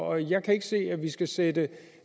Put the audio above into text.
og jeg kan ikke se at vi skal sætte